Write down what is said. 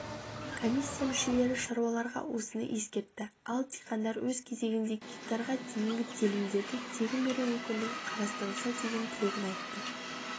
комиссия мүшелері шаруаларға осыны ескертті ал диқандар өз кезегінде гектарға дейінгі телімдерді тегін беру мүмкіндігі қарастырылса деген тілегін айтты